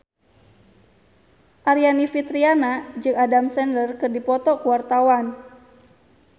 Aryani Fitriana jeung Adam Sandler keur dipoto ku wartawan